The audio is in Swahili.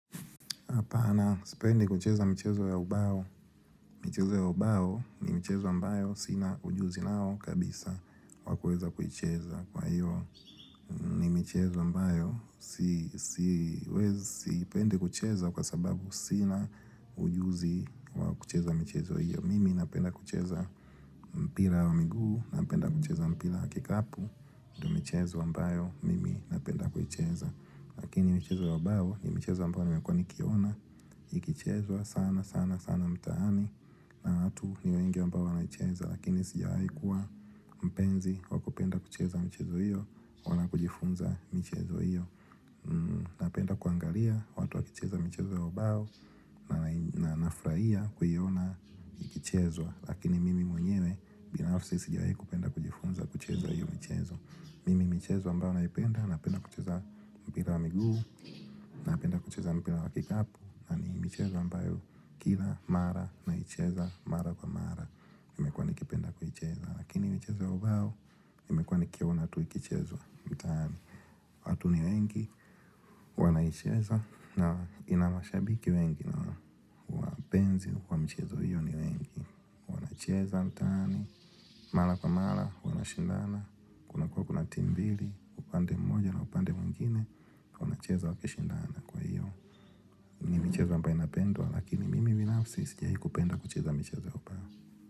Hapana, sipendi kucheza mchezo ya ubao. Michezo ya ubao ni michezo ambayo sina ujuzi nao kabisa wakuweza kuicheza. Kwa hiyo ni michezo ambayo sipendi kucheza kwa sababu sina ujuzi wakucheza michezo hiyo. Mimi napenda kucheza mpira wa miguu, napenda kucheza mpira waki kapu. Michezo ambayo, mimi napenda kuicheza. Lakini michezo ya ubao ni michezo ambayo ni mekuwa nikiona. Ikichezwa sana sana sana mtaani na watu ni wengi ambao wanaicheza Lakini sija wahi kuwa mpenzi wakupenda kucheza michezo hiyo wala kujifunza michezo hiyo Napenda kuangalia watu wakicheza michezo ya ubao na nafurahia kuiona ikichezwa Lakini mimi mwenyewe binafsi sijawai kupenda kujifunza kucheza hiyo michezo Mimi michezo ambayo naipenda napenda kucheza mpira wa miguu na penda kucheza mpira wakikapu michezo ambayo kila mara na icheza mara kwa mara Nimekuwa nikipenda kuicheza lakini michezo ya ubao, nimekuwa nikiona tu ikichezwa mtaani watu ni wengi wana icheza na inamashabiki wengi na wapenzi wa michezo hiyo ni wengi wanacheza mtaani mara kwa mara wana shindana kunakuwa natimu mbili upande mmoja na upande mwingine wana cheza wakishindana kwahiyo ni michezo ambayo inapendwa lakini mimi binafsi sijawahi kupenda kucheza michezo ya ubao.